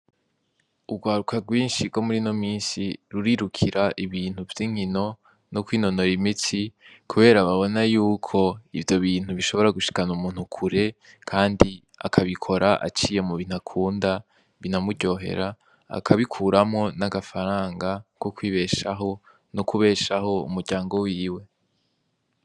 Urwaruka rwinshi rwo murino minsi rurirukira ibintu vyinkino no kwinonora imitsi kubera babona yuko ivyo bintu bishoboa gushikana umuntu kure kandi akabikora aciye mu bintu akunda binamuryohera akabikuramwo n'agafaranga ko kwibeshaho no kubeshaho umuryango wiwe.